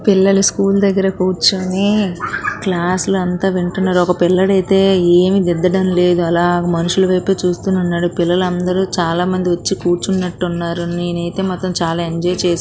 పిల్లలు స్కూల్ దగ్గర కూర్చొన క్లాస్ అంతా వింటున్నారు. ఒక పిల్లాడు అయితే ఏం ధీద్దటం లేదు. అలా మనుషుల వైపు చూస్తూ ఉన్నాడు. పిల్లలందరూ చాలా మంది వచ్చి కూర్చున్నట్టు ఉన్నారు. నేను మాత్రం అయితే చాలా ఎంజాయ్ చేశాను.